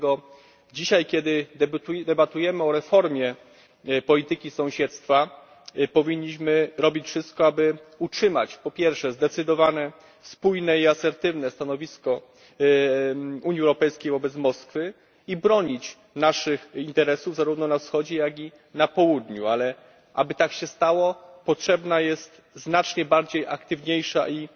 Dlatego dzisiaj, kiedy debatujemy o reformie polityki sąsiedztwa, powinniśmy robić wszystko, aby utrzymać po pierwsze zdecydowane spójne i asertywne stanowisko Unii Europejskiej wobec Moskwy i bronić naszych interesów, zarówno na Wschodzie, jak i na Południu, ale aby tak się stało potrzebna jest znacznie bardziej aktywna i